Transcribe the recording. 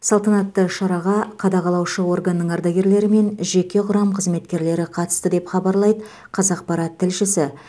салтанатты шараға қадағалаушы органның ардагерлері мен жеке құрам қызметкерлері қатысты деп хабарлайды қазақпарат тілшісі